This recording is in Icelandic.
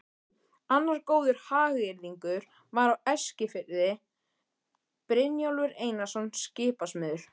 Annar góður hagyrðingur var á Eskifirði, Brynjólfur Einarsson skipasmiður.